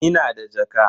Ina da jaka.